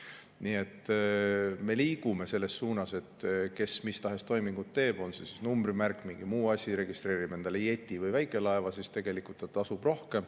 Nii et me liigume selles suunas, et see, kes mis tahes toiminguid teeb, on see numbrimärk või mingi muu asi, registreerib endale jeti või väikelaeva, tegelikult tasub rohkem.